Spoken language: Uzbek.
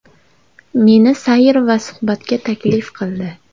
Meni sayr va suhbatga taklif qildi.